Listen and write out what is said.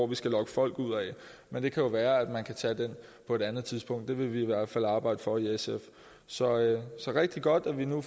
vi skal lokke folk ud af men det kan jo være at man kan tage den på et andet tidspunkt det vil vi i hvert fald arbejde for i sf så det er rigtig godt at vi nu